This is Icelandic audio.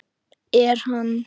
Er hann.